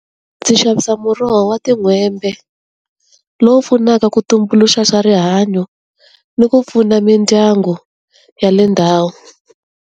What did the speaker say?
Ndzi xavisa muroho wa tin'hwembe, lowu pfunaka ku tumbuluxa swa rihanyo, ni ku pfuna mindyangu ya le ndhawu.